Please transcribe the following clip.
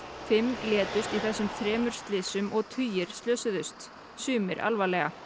fimm létust í þessum þremur slysum og tugir slösuðust sumir alvarlega